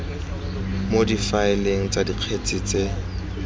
mo difaeleng tsa dikgetse tse